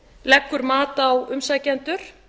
leggur mat á umsækjendur